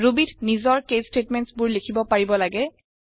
Ruby ত নিজৰ case statements বোৰ লিখিব পাৰিব লাগে